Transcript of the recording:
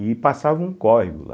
E passava um córrego lá.